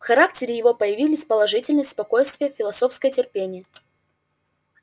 в характере его появились положительность спокойствие философское терпение